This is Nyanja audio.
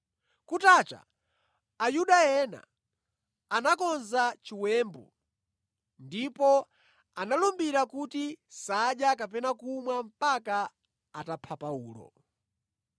Kutacha Ayuda ena anakonza chiwembu ndipo analumbira kuti sadya kapena kumwa mpaka atapha Paulo.